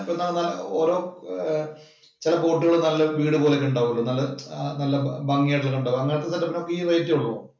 അപ്പൊ എന്താ ഓരോ ചെല ബോട്ടുകള്‍ നല്ല വീട് പോലെയുണ്ടാവൂലോ. ആഹ് നല്ല ഭംഗി ആയിട്ട് . അങ്ങനത്തെ set up ഇനൊക്കെ ഈ റേറ്റെ ഉള്ളോ?